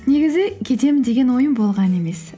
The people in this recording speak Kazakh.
негізі кетемін деген ойым болған емес